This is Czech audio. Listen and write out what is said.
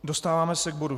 Dostáváme se k bodu